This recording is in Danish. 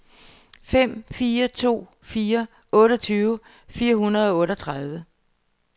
fem fire to fire otteogtyve fire hundrede og otteogtredive